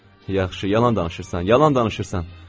Yaxşı, yalan danışırsan, yalan danışırsan.